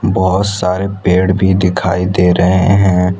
बहोत सारे पेड़ भी दिखाई दे रहे है।